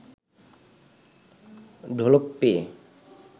ঢোলক পেয়ে